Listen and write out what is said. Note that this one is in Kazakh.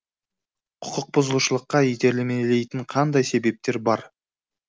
құқықбұзушылыққа итермелейтін қандай себептер бар